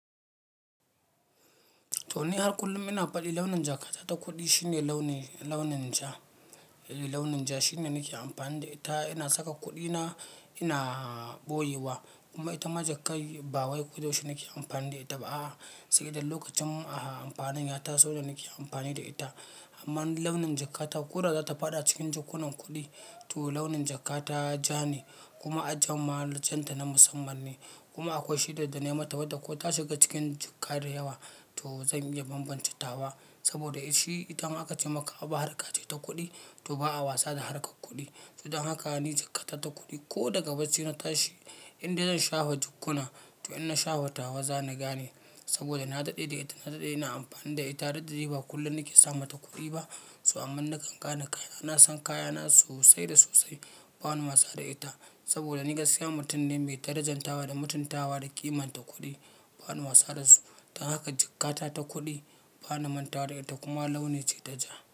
To ni har kullum ina faɗi launin jakata ta kuɗi shine launin, launin ja, launin ja shine nake amfani da ita. Ina saka kuɗina ina boyewa kuma itama jakar bawai kuda yaushi naki shine nake amfani da ita. A'h, sai dai lokacin amfanin ya taso da nake amfani da ita. Amma launin jakata ƙura za ta faɗa cikin jakunan kuɗi. To launin jakata ja ne kuma ajjuwar can ta na musamman ne. Kuma akwai shida da na yi mata wadda ko ta shiga cikin jakka da yawa to zan iya bambance tawa ba. Saboda shi idan aka ce maka abu harka ce ta kuɗi, to ba'a wasa da harkar kuɗi. To don haka ni jakata ta kuɗi ko daga bacci na tashi, inda zan shafa jakkuna to in na shafa tawa zana gane saboda na daɗe da ita, na daɗe ina amfani da ita. Daɗɗe ba kullum nake samata kuɗi ba. To amma nakan gane kaya, na san kayana sosai da sosai. Ba na wasa da ita saboda ni gaskiya mutum ne mai darajanta wa da mutuntawa da ƙimanta kuɗi. Ba na wasa da su. Don haka jakata ta kuɗi, ba na manta da ita kuma launi ce ta ja.